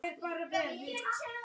Karen: Hvernig gerðir þú góðverk?